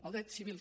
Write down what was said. el dret civil